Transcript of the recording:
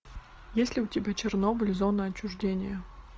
есть ли у тебя чернобыль зона отчуждения